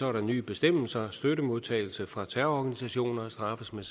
er der nye bestemmelser så støttemodtagelse fra terrororganisationer straffes med